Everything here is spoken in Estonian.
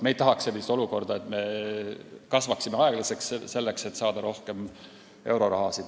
Ei tahaks sellist olukorda, et me kasvame aeglaselt, selleks et saada rohkem eurorahasid.